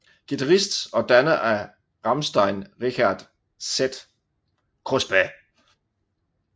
Guitarist og danner af Rammstein Richard Z